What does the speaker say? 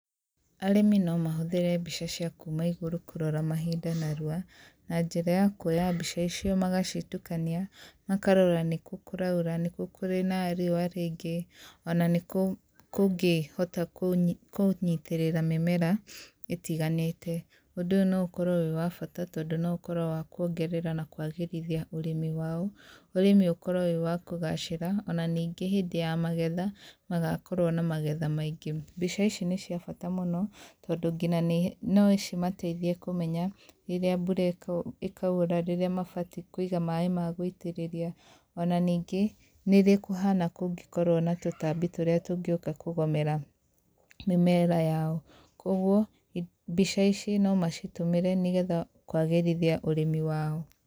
Arĩmi no mahũthĩre mbica cia kuma igũrũ kũrora mahinda narua na njĩra ya kuoya mbica icio magacitukania makarora nĩkũ kũraura, nĩkũ kũrĩ na riũa rĩingĩ ona nĩkũ kũngĩhota kũnyitĩrĩra mĩmera ĩtiganĩte. Ũndũ ũyũ no ũkorwo wĩ wa bata tondũ ũkorwo wĩ wa kuongerera na kwagĩrithia ũrĩmi wao, ũrĩmĩ ũkorwo wĩ wa kũgacira ona ningĩ hĩndĩ ya magetha magakorwo maingĩ. Mbica ici nĩ ciabata mũno tondũ nginya no cimateithie kũmenya rĩrĩa mbura ĩkaura, rĩrĩa mabatiĩ kũiga maĩ magũitĩrĩria ona ningĩ nĩrĩ kũhana kũngĩkorwo kwĩna tũtambi tũrĩa tũngĩũka kũgũmĩra mĩra yao. Kwoguo mbica ici no macitũmĩre nĩgetha kwagĩrithia mĩmera yao.